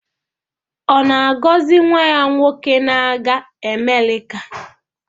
Ọ na-agọzi nwa ya nwoke na-aga Amerịka?